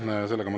Aitäh!